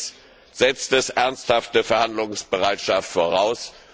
Allerdings setzt dies ernsthafte Verhandlungsbereitschaft voraus.